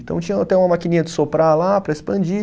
Então, tinha até uma maquininha de soprar lá para expandir.